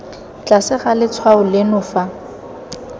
tlase ga letshwao leno fa